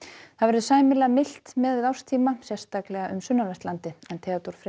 það verður sæmilega milt miðað við árstíma sérstaklega um sunnanvert landið Theodór Freyr